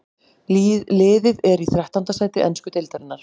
Liðið er í þrettánda sæti ensku deildarinnar.